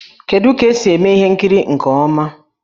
Kedu ka esi eme ihe nkiri nke ọma?